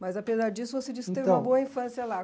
Mas, apesar disso, você disse que teve uma boa infância lá.